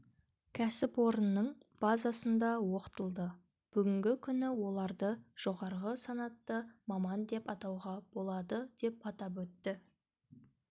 кәсіпорынның базасында оқытылды бүгінгі күні оларды жоғары санатты маман деп атауға болады деп атап өтті